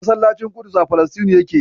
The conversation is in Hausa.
Masallacin Ƙudus a Falasɗinu yake.